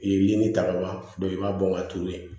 I ye ni ta ka ban i b'a bɔ ka turu yen